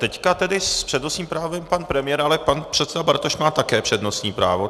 Teď tedy s přednostním právem pan premiér, ale pan předseda Bartoš má také přednostní právo.